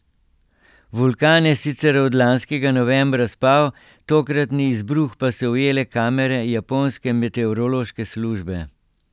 Vulkan je sicer od lanskega novembra spal, tokratni izbruh pa so ujele kamere japonske meteorološke službe.